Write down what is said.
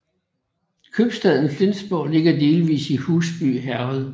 Købstaden Flensborg ligger delvis i Husby Herred